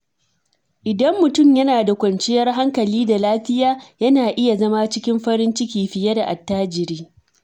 Idan mutum yana da kwanciyar hankali da lafiya, yana iya zama cikin farin ciki fiye da attajiri.